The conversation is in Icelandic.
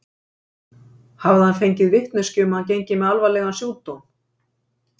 Hafði hann fengið vitneskju um að hann gengi með alvarlegan sjúkdóm?